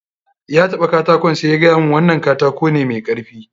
Ya taɓa katakon sai ya gaya mun wannan katako ne mai karfi.